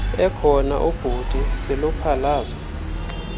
ekhona ubhuti siluphalaze